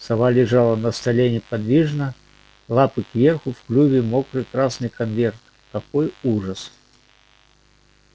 сова лежала на столе неподвижно лапы кверху в клюве мокрый красный конверт какой ужас